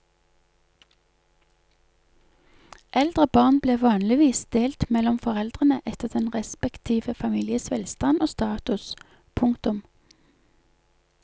Eldre barn ble vanligvis delt mellom foreldrene etter den respektive families velstand og status. punktum